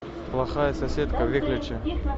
плохая соседка выключи